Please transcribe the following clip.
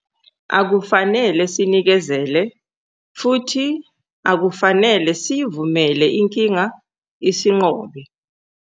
Akufanele sinikezele futhi akufanele sivumele inkinga isinqobe.